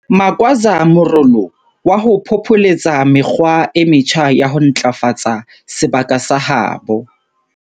Magwaza morolo wa ho phopholetsa mekgwa e metjha ya ho ntlafatsa sebaka sa habo.